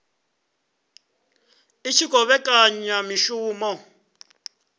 i tshi khou vhekanya mishumo